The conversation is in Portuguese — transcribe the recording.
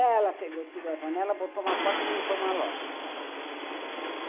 Ela pegou, tirou a janela, botou uma porta e montou uma loja.